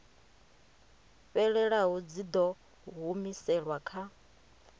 fhelelaho dzi ḓo humiselwa kha